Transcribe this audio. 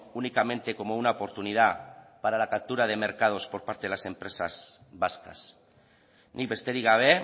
únicamente como una oportunidad para la captura de mercados por parte de las empresas vascas nik besterik gabe